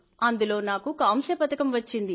అందులో నాకు కాంస్య పతకం వచ్చింది